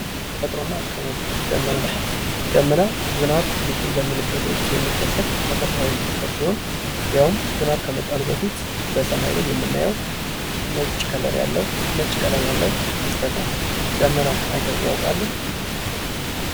ተፈጥሮ እና አካባቢ ደመና ደመና ዝናም ሊጥልበት በሚልበት ወቅት የሚከሰት ተፈጥሯዊ ክስተት ሲሆን ያውም ዝናም ከመጣሉ በፊት በሰማይ ላይ የምናየው ነጭ ቀለም ያለው ክስተት ነው። ደመና አይተው ያውቃሉ?